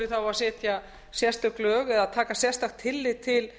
setja sérstök lög eða taka sérstakt tillit til